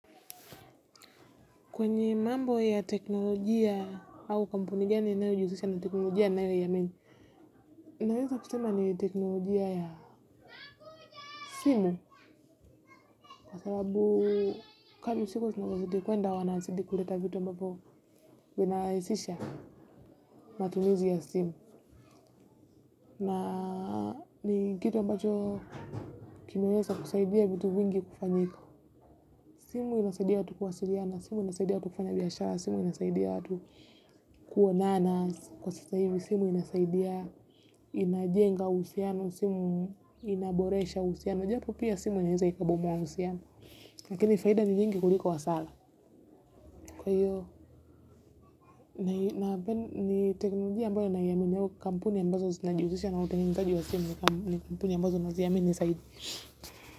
Kwenye mambo ya teknolojia au kampuni gani inayojihusisha na teknolojia nayoiamini. Naweza kusema ni teknolojia ya simu. Kwa sababu kadri siku zinavyozidi kwenda wanazidi kuleta vitu ambavyo vinarahisisha matumizi ya simu. Na ni kitu ambacho kimeweza kusaidia vitu vingi kufanyika. Simu inasaidia watu kuwasiliana, simu inasaidia watu kufanya biashara, simu inasaidia watu kuonana. Kwa sasa hivi, simu inasaidia, inajenga uhusiano, simu inaboresha uhusiano. Japo pia simu inaweza ikabomba uhusiano. Lakini faida ni nyingi kuliko hasara. Kwa hiyo, ni teknolojia ambayo naiamini au kampuni ambazo zinajiusisha na utengenezaji wa simu ni kampuni ambazo naziamini zaidi.